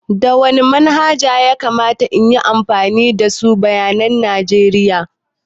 Da wani manhaja ya kamata in yi amfani in samu bayanan najeriya?